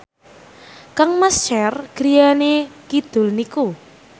kangmas Cher griyane kidul niku